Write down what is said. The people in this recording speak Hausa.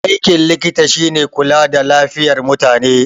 Aikin likita shine kula da lafiyar mutane